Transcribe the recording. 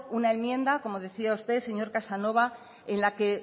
una enmienda como decía usted señor casanova en la que